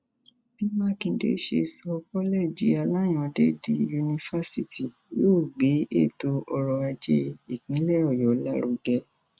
bí mákindé ṣe sọ kọlẹẹjì aláyànde di yunifásitì yóò gbé ètò ọrọ ajé ìpínlẹ ọyọ lárugẹ